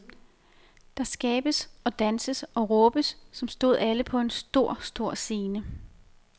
Der skabes og danses og råbes, som stod alle på en stor, stor scene.